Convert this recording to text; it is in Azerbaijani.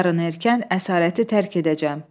Yarın erkən əsarəti tərk edəcəm.